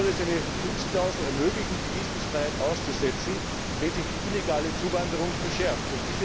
Nun soll es eine Schutzklausel ermöglichen, die Visumfreiheit auszusetzen, wenn sich die illegale Zuwanderung verschärft.